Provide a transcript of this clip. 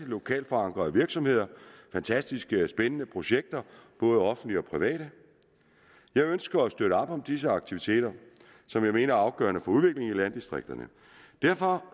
lokalt forankrede virksomheder og fantastisk spændende projekter både offentlige og private jeg ønsker at støtte op om disse aktiviteter som jeg mener er afgørende for udviklingen i landdistrikterne derfor